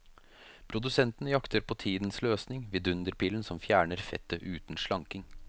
Produsentene jakter på tidens løsning, vidunderpillen som fjerner fettet uten slanking.